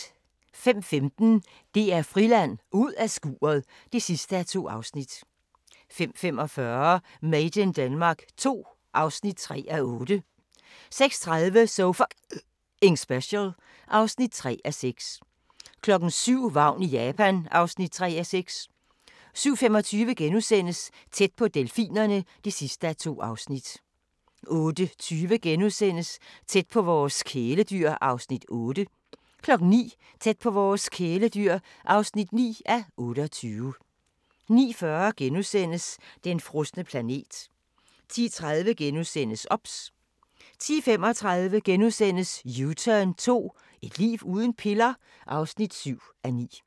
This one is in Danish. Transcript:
05:15: DR Friland: Ud af skuret (2:2) 05:45: Made in Denmark II (3:8) 06:30: So F***ing Special (3:6) 07:00: Vagn i Japan (3:6) 07:25: Tæt på delfinerne (2:2)* 08:20: Tæt på vores kæledyr (8:28)* 09:00: Tæt på vores kæledyr (9:28) 09:40: Den frosne planet (5:6)* 10:30: OBS * 10:35: U-turn 2 – Et liv uden piller? (7:9)*